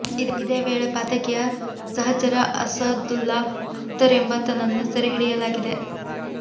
ಇದೇ ವೇಳೆ ಪಾತಕಿಯ ಸಹಚರ ಅಸಾದುಲ್ಲಾ ಅಖ್ತರ್ ಎಂಬಾತನನ್ನೂ ಸೆರೆ ಹಿಡಿಯಲಾಗಿದೆ